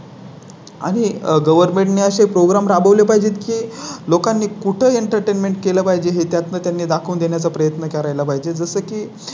आणि आह Government ने असे Program राबवले पाहिजेत की लोकांनी कुठे Entertainment केलं पाहिजे हे त्यांनी दाखवून देण्या चा प्रयत्न करायला पाहिजे. जसं की